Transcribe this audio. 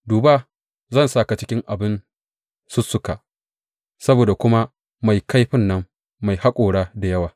Duba, zan sa ka cikin abin sussuka, saboda kuma mai kaifi mai haƙora da yawa.